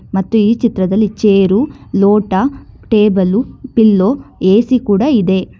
ಮತ್ತು ಈ ಚಿತ್ರದಲ್ಲಿ ಚೇರು ಲೋಟ ಟೇಬಲು ಪಿಲ್ಲೋ ಏ_ಸಿ ಕೂಡ ಇದೆ.